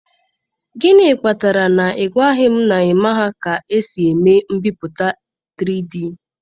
Gịnị kpatara na ị gwaghị m na ị maghị ka esi eme mbipụta 3D?